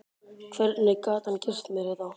Hvernig gat hann gert mér þetta?